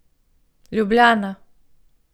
Ljubljana.